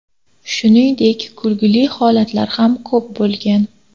Shuningdek, kulgili holatlar ham ko‘p bo‘lgan.